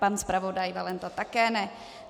Pan zpravodaj Valenta také ne.